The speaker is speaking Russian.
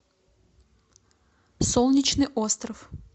солнечный остров